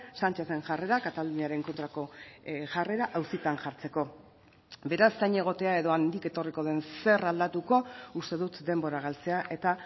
sánchezen jarrera kataluniaren kontrako jarrera auzitan jartzeko beraz zain egotea edo handik etorriko den zer aldatuko uste dut denbora galtzea eta